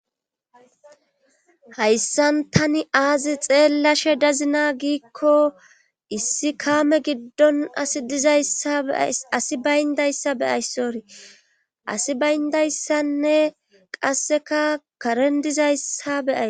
Hayssan tani aazi xeellashe dazina giikko issi kaame giddon izaasi bayndayssa beyayssori asi bayndayssanne qasseka karen dizayssa beyay.